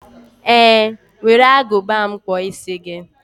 Ee were Agụba m kpụọ isi gị.